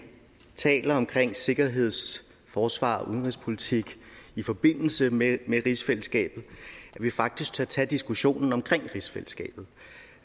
taler om sikkerheds forsvars og udenrigspolitik i forbindelse med rigsfællesskabet at vi faktisk tør tage diskussionen om rigsfællesskabet